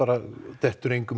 dettur engum